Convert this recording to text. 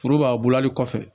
Foro b'a bulani kɔfɛ